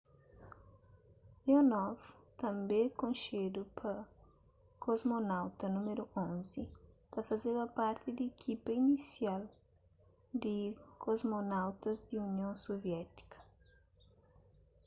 leonov tanbê konxedu pa kosmonauta nº 11” ta fazeba parti di ikipa inisial di kosmonautas di union suviétika